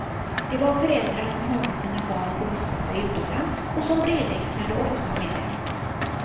Det var föräldrar som hade sina barn bosatta utomlands och som brevväxlade ofta med dem.